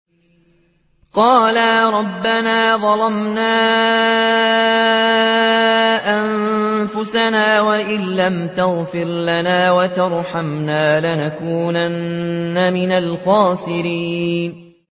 قَالَا رَبَّنَا ظَلَمْنَا أَنفُسَنَا وَإِن لَّمْ تَغْفِرْ لَنَا وَتَرْحَمْنَا لَنَكُونَنَّ مِنَ الْخَاسِرِينَ